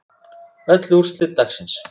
Öll úrslit dagsins